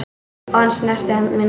Og hann snerti hönd mína.